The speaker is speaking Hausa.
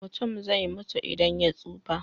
Mutum zai mutu idan ya tsufa.